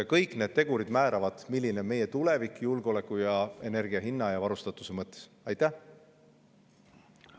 Kõik need tegurid määravad, milline on meie tulevik julgeoleku, energia hinna ja varustatuse mõttes.